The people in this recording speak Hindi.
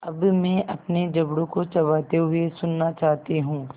अब मैं अपने जबड़ों को चबाते हुए सुनना चाहती हूँ